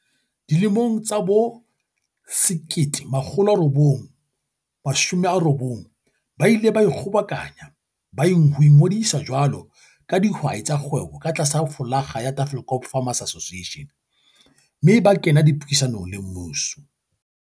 Dilemong tsa bo1990 ba ile ba ikgobokanya ho ingodisa jwalo ka dihwai tsa kgwebo ka tlasa flolaga ya Tafelkop Farmers Association mme ba kena dipuisanong le mmuso.